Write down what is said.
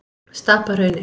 Stapahrauni